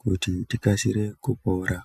kuti tikasire kupora.